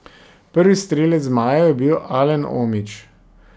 Prvi strelec zmajev je bil Alen Omić.